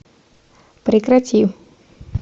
прекрати